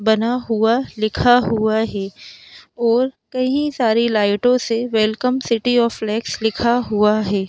बना हुआ लिखा हुआ है और कई सारे लाइटों से वेलकम सिटी ऑफ फ्लेक्स लिखा हुआ है।